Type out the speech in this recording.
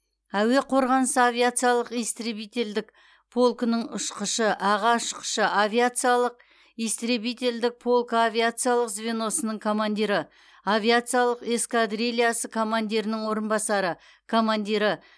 әуе қорғанысы авиациялық истребительдік полкының ұшқышы аға ұшқышы авиациялық истребителдік полкы авиациялық звеносының командирі авиациялық эскадрильясы командирінің орынбасары командирі